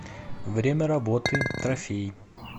время работы трофей